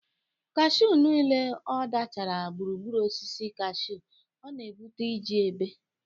Kashụ niile a dachara gburugburu osisi kashụ a na-ebute iiiji ebe.